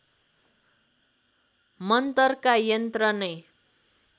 मन्तरका यन्त्र नै